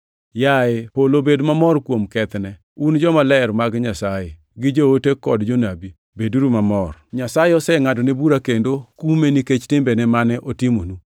“Yaye polo bed mamor kuom kethne. Un jomaler mag Nyasaye gi joote kod jonabi, beduru mamor! Nyasaye osengʼadone bura kendo kume nikech timbe mane otimonu.”